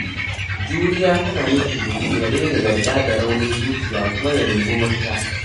Juriya tana nufin mutum ya daina yarda da raunin zuciya kuma ya nemi mafita.